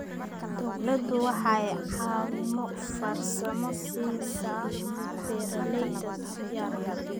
Dawladdu waxay caawimo farsamo siisaa beeralayda yaryar.